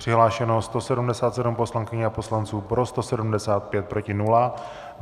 Přihlášeno 177 poslankyň a poslanců, pro 175, proti nula.